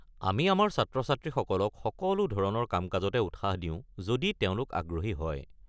আমি আমাৰ ছাত্ৰ-ছাত্ৰীসকলক সকলো ধৰণৰ কাম-কাজতে উৎসাহ দিও যদি তেওঁলোক আগ্ৰহী হয়।